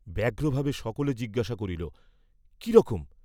ব্যগ্রভাবে সকলে জিজ্ঞাসা করিল, কি রকম?